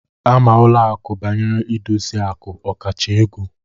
Ama ụlọ akụ banyere idosi aku okacha ego